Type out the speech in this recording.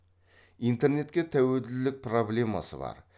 интернетке тәуелділік проблемасы бар